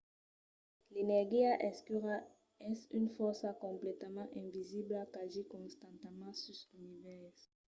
l'energia escura es una fòrça completament invisibla qu'agís constantament sus l'univèrs